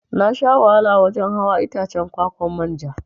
Nasha wahala wajan hawa Itacen kwa-kwan manja.